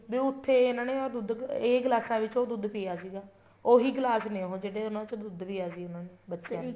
ਵੀ ਉੱਥੇ ਇਹਨਾ ਨੇ ਉਹ ਦੁੱਧ ਇਹ ਗਿਲਾਸਾਂ ਚ ਉਹ ਦੁੱਧ ਪੀਆ ਸੀਗਾ ਉਹੀ ਗਿਲਾਸ ਨੇ ਉਹ ਜਿਹੜੇ ਉਹਨਾ ਚੋ ਦੁੱਧ ਪੀਆ ਸੀ ਉਹਨਾ ਨੇ ਬੱਚਿਆ ਨੇ